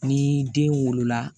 Ni den wolola